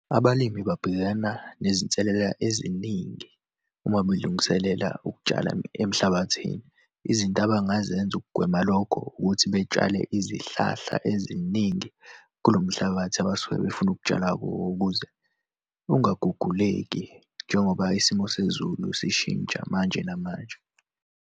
Abalimi babhekana nezinselela eziningi uma belungiselela ukutshala emhlabathini. Izinto abangazenza ukugwema lokho, ukuthi betshale izihlahla eziningi kulo mhlabathi abasuke befuna ukutshala kuwo ukuze ungaguguleki, njengoba isimo sezulu sishintsha manje namanje.